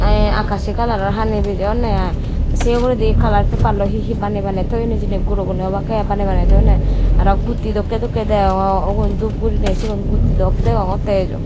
tey akashi coloror hani bejeyoneh i seh uguredi color paper loi hihi baneh baneh toyon hejini goroguney obake i baneh baneh toyoneh aro guti dokkey dokkey deyongor ubon dup gurineh sigon guti dok degongottey ejo.